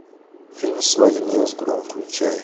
фильм свадебный разгром включай